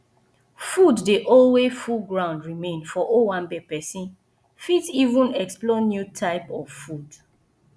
food dey alway full ground remain for owanbe person fit even explore new type of food